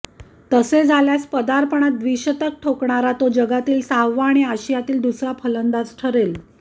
तसे झाल्यास पदार्पणात द्विशतक ठोकणारा तो जगातील सहावा आणि आशियातील दुसरा फलंदाज ठरेल